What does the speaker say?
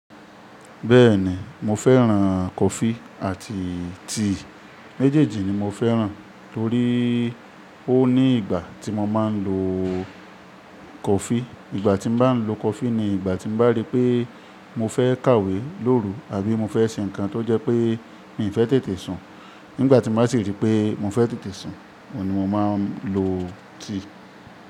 Bẹ́ẹ̀ni mo fẹ́ràn coffee àti tea méjèèjì ni mo fẹ́ràn torí ó ní ìgbà tí mo máa ń lo coffee. Ìgbà tí mo bá ń lo coffee ni ìgbà tí mo bá rí pé mo fẹ́ kàwé lóru àbí mo fẹ́ ṣe ǹkan tó jẹ́ pé n ò fẹ́ tètè sùn. Nígbà tí mo bá sì rí pé mo fẹ́ tètè sùn, ọ̀ ní mo máa ń lo tea.